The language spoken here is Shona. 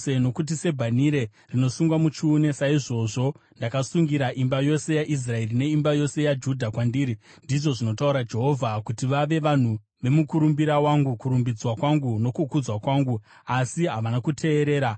Nokuti sebhanhire rinosungwa muchiuno saizvozvo ndakasungira imba yose yaIsraeri neimba yose yaJudha kwandiri,’ ndizvo zvinotaura Jehovha, ‘kuti vave vanhu vemukurumbira wangu, kurumbidzwa kwangu nokukudzwa kwangu. Asi havana kuteerera.’